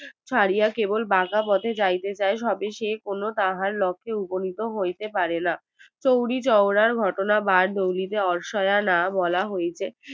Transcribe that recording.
ছাড়িয়া কেবল বাঁকা পথে যাইতে চায় তবে সে কোনো তাহার লক্ষে উপন্নিত হইতে পারেনা চৌরি চৌরার ঘটনা বার দৌলিতে অৱসায়োনা বলা হইতে